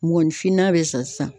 Mɔgɔninfin na bɛ sa sisan.